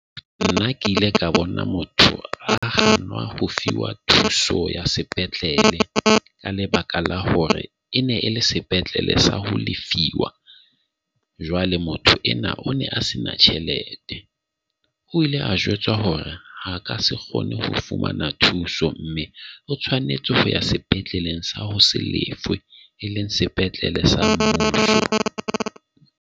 Nna ke ile ka bona motho a qhalanwa ho fiwa thuso ya sepetlele, ka lebaka la hore e ne e le sepetlele sa ho lefiwa. Jwale motho enwa o ne a se na tjhelete. O ile a jwetswa hore ha ka se kgone ho fumana thuso, mme o tshwanetse ho ya sepetleleng sa ho se lefe, e leng sepetlele sa .